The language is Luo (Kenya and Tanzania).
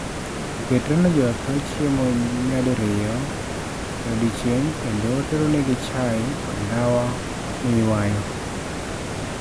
Oketone jo otho chiemo nyadiriyo e odiechieng' kendo oteronegi chai kod ndawa miywayo.